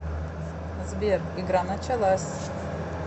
сбер игра началась